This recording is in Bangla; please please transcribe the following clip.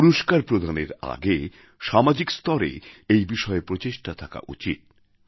পুরস্কার প্রদানের আগে সামাজিক স্তরেও এই বিষয়ে প্রচেষ্টা থাকা উচিত